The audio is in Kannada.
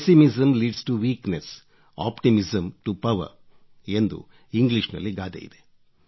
pessimism leads to weakness optimism to power ಎಂದು ಇಂಗ್ಲೀಷ್ ನಲ್ಲಿ ಗಾದೆಯಿದೆ